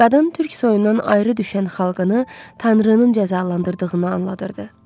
Qadın türk soyundan ayrı düşən xalqını tanrının cəzalandırdığını anladırdı.